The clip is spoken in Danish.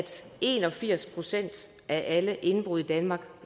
en og firs procent af alle indbrud i danmark